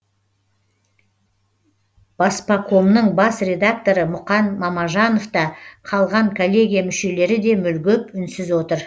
баспакомның бас редакторы мұқан мамажанов та қалған коллегия мүшелері де мүлгіп үнсіз отыр